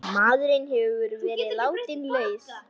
Maðurinn hefur verið látinn laus